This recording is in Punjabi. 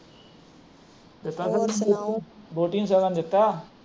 ਵੋਟੀ ਨੂੰ ਸਗਨ ਦਿਤਾ